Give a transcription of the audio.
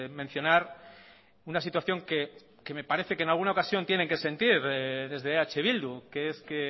mencionar una situación que me parece que en alguna ocasión tienen que sentir desde eh bildu que es que